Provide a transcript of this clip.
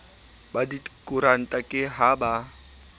ba dikoranta ke ha ba